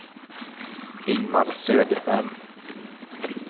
Ingmar Söderberg